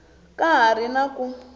ka ha ri na ku